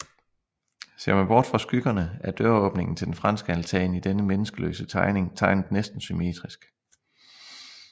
Ser man bort fra skyggerne er døråbningen til den franske altan i denne menneskeløse tegning tegnet næsten symmetrisk